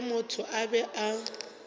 ge motho a be a